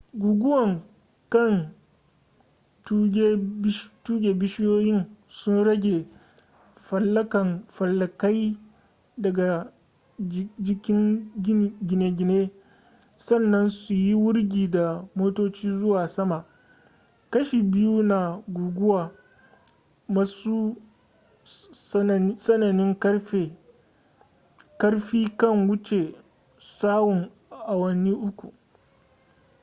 guguwa kan tuge bishiyoyin su yage falankai daga jikin gine-gine sannan su yi wurgi da motoci zuwa sama kashi biyu na guguwa masu tsananin ƙarfi kan wuce tsawon awanni uku